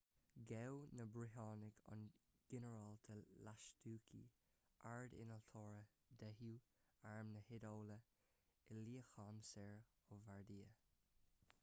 ghabh na briotanaigh an ginearálta lastucci ard-innealtóir deichiú arm na hiodáile i luíochán soir ó bardia